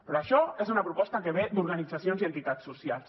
però això és una proposta que ve d’organitzacions i entitats socials